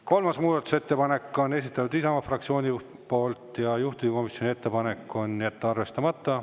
Kolmanda muudatusettepaneku on esitanud Isamaa fraktsioon ja juhtivkomisjoni ettepanek on jätta see arvestamata.